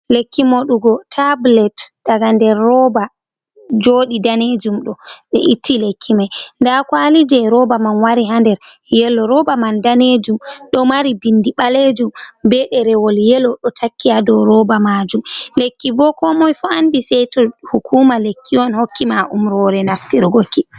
Lekki moɗugo tabulet daga nder roɓa, jodi danejum do be itti lekki mai da kwalije roɓa man wari ha nder yelo roɓa man danejum do mari bindi balejum be derewol yelo do takkiya do roɓa majum lekki bo ko moy fo andi sai to hukuma lekki on hokki ma umrore naftirgoki.